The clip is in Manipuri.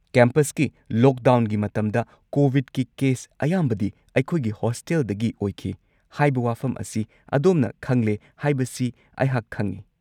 ꯀꯦꯝꯄꯁꯀꯤ ꯂꯣꯛꯗꯥꯎꯟꯒꯤ ꯃꯇꯝꯗ ꯀꯣꯕꯤꯗꯀꯤ ꯀꯦꯁ ꯑꯌꯥꯝꯕꯗꯤ ꯑꯩꯈꯣꯏꯒꯤ ꯍꯣꯁꯇꯦꯜꯗꯒꯤ ꯑꯣꯏꯈꯤ ꯍꯥꯏꯕ ꯋꯥꯐꯝ ꯑꯁꯤ ꯑꯗꯣꯝꯅ ꯈꯪꯂꯦ ꯍꯥꯏꯕꯁꯤ ꯑꯩꯍꯥꯛ ꯈꯪꯉꯤ꯫